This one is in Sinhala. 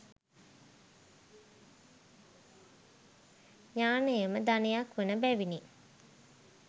ඥානයම ධනයක් වන බැවිනි.